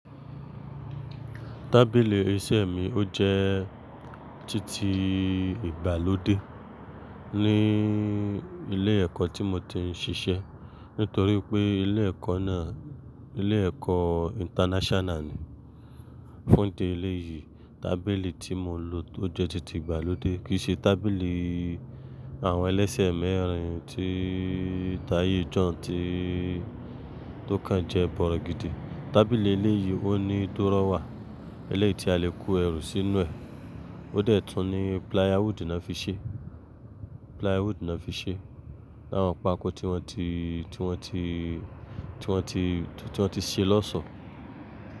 Tábìlì iṣẹ́ mi ó jẹ́ títí ìgbàlódé ní ilé ẹ̀kọ́ tí mo ti ń ṣiṣẹ́ nítorí pé ilé ẹ̀kọ́ náà ilé ẹ̀kọ́ international ni. Fún ìdílé yìí tábìlì tí mo ń lò tó jẹ́ títí ìgbàlódé kì í ṣe tábìlì àwọn ẹlẹ́sẹ̀ mẹ́rin tí táyé jo ounn tí tó kàn jẹ bọ̀rọ̀gidí. Tábìlì ilé yìí ó ní dúrọ́wà eléyìí tí a le kó ẹrù sínú ẹ̀. Ó dẹ̀ tun ní plywood ni wọ́n fi ṣe, plywood ni wọ́n fi ṣe, àwọn pákó tí wọ́n ti, tí wọ́n ti, tí wọ́n ti, tí wọ́n ti ṣe lọ́oso.